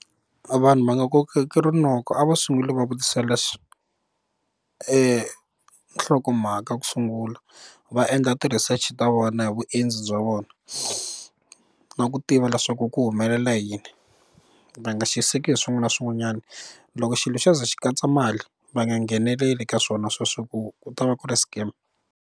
Vanhu va nga kokeki rinoko a va sunguli va vutisela hlokomhaka ku sungula va endla ti research ta vona hi vuendzi bya vona na ku tiva leswaku ku humelela yini va nga xiseki hi swin'wana na swin'wanyana loko xilo xo ze xi katsa mali va nga ngheneleli ka swona sweswo ku ku ta va ku ri scam.